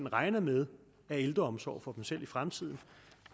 regner med af ældreomsorg for sig selv i fremtiden